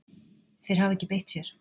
Þeir hafa ekki beitt sér